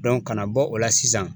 kana bɔ o la sisan